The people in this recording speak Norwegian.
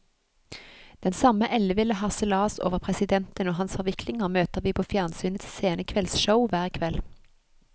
Den samme elleville harselas over presidenten og hans forviklinger møter vi på fjernsynets sene kveldsshow, hver kveld.